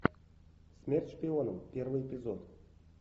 смерть шпионам первый эпизод